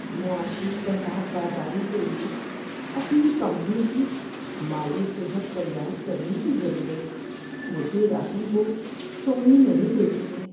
معاشی کساد بازاری کے لیے اپنی کمپنی کی مالی صحت تیار کرنے کی ضرورت مجھے راتوں کو سونے نہیں دیتی ہے۔